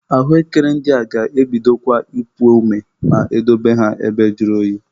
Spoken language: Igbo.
Ahụekere ndị a ga-ebidokwa ipu ome ma I dobe ha ebe juru oyi.